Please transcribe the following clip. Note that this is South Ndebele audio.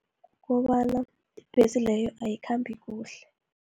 Ngombana, ibhesi leyo ayikhambi kuhle.